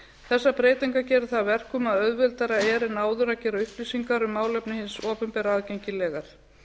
þessar breytingar gera það að verkum að auðveldara er en áður að gera upplýsingar um málefni hins opinbera aðgengilegar